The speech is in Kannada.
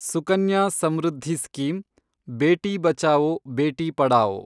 ಸುಕನ್ಯಾ ಸಮೃದ್ಧಿ ಸ್ಕೀಮ್, ಬೇಟಿ ಬಚಾವೊ ಬೇಟಿ ಪಢಾವೋ